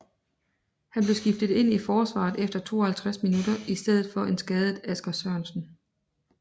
Han blev skiftet ind i forsvaret efter 52 minutter i stedet for en skadet Asger Sørensen